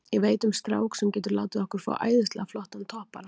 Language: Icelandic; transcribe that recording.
Ég veit um strák sem getur látið okkur fá æðislega flottan toppara.